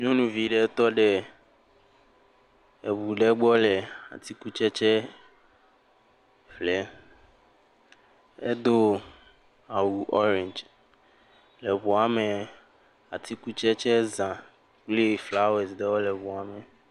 Nyɔnuvi ɖe tɔ ɖe eŋu ɖe gblɔ le atikutsetse ƒlem, edo awu orange eŋu woame, atikutsetse za kple flawesi ɖewe le ŋua me.